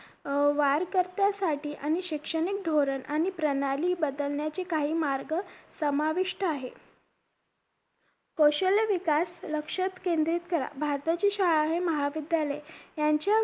अं वाढ कर्त्यासाठी आणि शैक्षणिक धोरण आणि प्रणाली बदलण्याची काही मार्ग समाविष्ट आहे कौशल्य विकास लक्ष केंद्रित करा भारताची शाळा हे महाविद्यालय यांच्या